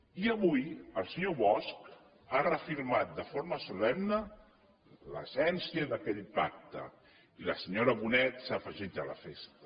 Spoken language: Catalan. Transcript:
i avui el senyor bosch ha reafirmat de forma solemne l’essència d’aquell pacte i la senyora bonet s’ha afegit a la festa